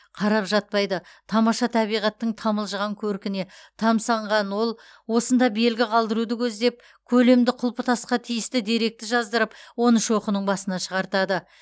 қарап жатпайды тамаша табиғаттың тамылжыған көркіне тамсанған ол осында белгі қалдыруды көздеп көлемді құлпытасқа тиісті деректі жаздырып оны шоқының басына шығартады